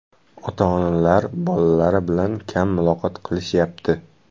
Ota-onalar bolalari bilan kam muloqot qilishyapti.